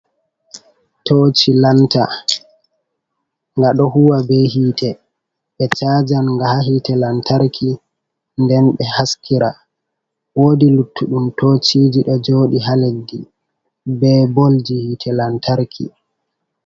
Toci lanta nga ɗo huwa be hite ɓe chajan nga ha hite lantarki nden be haskira woi luttuɗum tociji ɗo joɗi ha leddi be bolji hite lantarki.